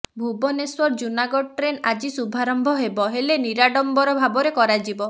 Bhubaneswar Junagarh train ଆଜି ଶୁଭାରମ୍ଭ ହେବ ହେଲେ ନିରାଡ଼ମ୍ବର ଭାବରେ କରାଯିବ